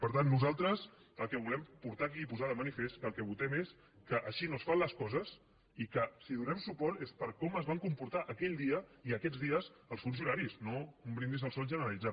per tant nosaltres el que volem portar aquí i posar de manifest és que el que votem és que així no es fan les coses i que si hi donem suport és per com es van comportar aquell dia i aquests dies els funcionaris no un brindis al sol generalitzat